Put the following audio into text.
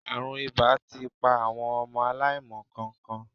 Àrùn ìbà ti pa àwọn ọmọ aláìmọ nǹkankan.